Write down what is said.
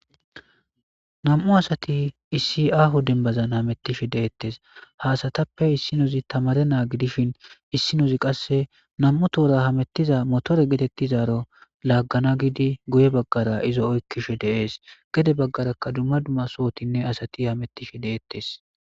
nam7u asati issi aahu dembazan hamettishe deettes haasatappe issinozi tamare naagi dishin issinozi qasse nam7u toora hamettiza motore geetettizaaro laaggana gidi guye baggara izo oykkishe deees gede baggarakka dumma dumma sohotinne asati hamettishe deettes